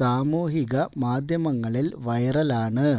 സാമൂഹിക മാധ്യമങ്ങളില് വൈറലാണ്